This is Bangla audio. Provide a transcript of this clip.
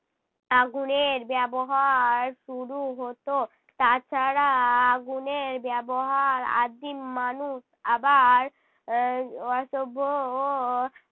আগুনের ব্যবহার শুরু হতো। তাছাড়া আগুনের ব্যবহার আদিম মানুষ আবার এর অসভ্যও